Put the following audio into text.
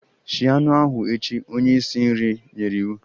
Shie anụ ahu echi! Onye isi nri nyere iwu.